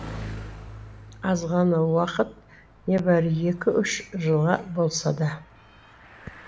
азғана уақыт небәрі екі үш жылға болса да